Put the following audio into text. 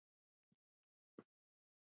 Svo góður var hann.